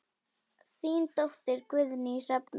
Þín dóttir, Guðný Hrefna.